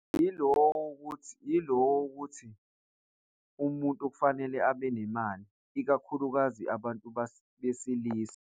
Yilo ukuthi, yilo ukuthi umuntu kufanele abe nemali ikakhulukazi abantu besilisa.